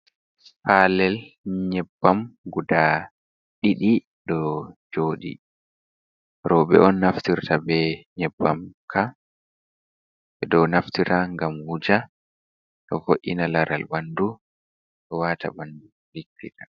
Palel nyebbam guda ɗiɗi ɗo jodi roɓe on naftirta be nyebbam'ka ɗo naftira gam wuja ɗo vo’’ina laral ɓandu ɗo wata ɓandu ɗigita.